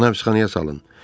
Ona həbsxanaya salın.